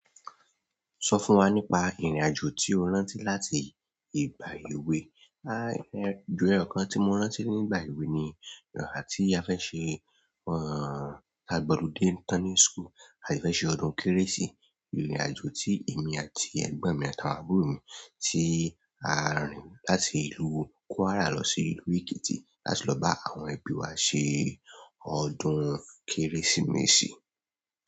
Sọ fún wa nípa ìrìn-àjò tí o rántí láti ìgbà èwe. À, ìrìn-àjò kan tí mo rántí nígbà èwe ni ìgbà tí a fẹ́ ṣe, a gbọludé tán ní school, a sì fẹ́ ṣe ọdún kérésì. Ìrìn-àjò tí èmi àti ẹ̀gbọ́n mi àtàwọn àbúrò mi tí a rìn láti ìlú Kwara lọ sí ìlú Ekiti láti lọ bá àwọn ẹbí wa ṣe ọdún Kérésìmesì.